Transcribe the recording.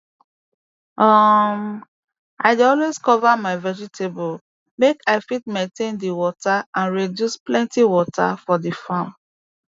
um i dey always cover my vegetable make i fit maintain di water and reduce plenty water for d farm